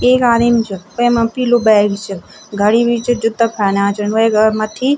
एक आदिम च वैमा पीलू बैग च घडी भी च जुत्ता खाना छिन वेक मत्थी।